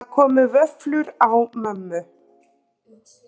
Það komu vöflur á mömmu.